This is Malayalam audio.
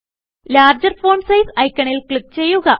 ലാർജർ ഫോണ്ട് സൈസ് ഐക്കണിൽ ക്ലിക്ക് ചെയ്യുക